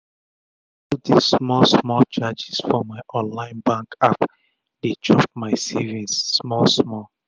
all dis small small charges for my online bank app dey chop my savings small small